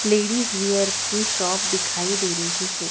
Ladies wear की shop दिखाई दे रही है।